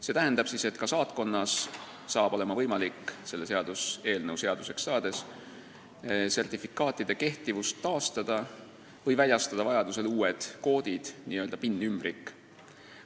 See tähendab seda, et ka saatkonnas saab olema võimalik selle seaduseelnõu seaduseks saades sertifikaatide kehtivust taastada või väljastada vajadusel uued koodid, n-ö PIN-ümbrik.